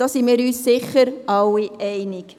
Darin sind wir uns sicher alle einig.